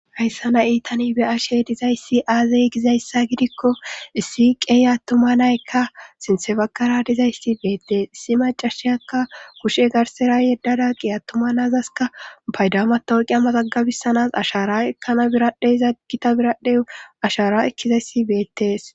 hayssa na iitani beyashe dizayssi aazey gizayssa gidikko issi qeyattumanaykka sintsefakara dizayssi beettees issi macashiyakka kushe garsera yeddada qiyattumanazaska paydama tooqiya maxagabisanas ashara ekana biradhey zaggita biradheu ashara ekkizayssi beettees.